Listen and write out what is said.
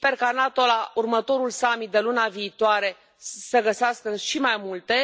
Sper ca NATO, la următorul summit de luna viitoare, să găsească și mai multe.